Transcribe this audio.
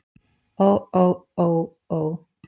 Ó ó ó ó.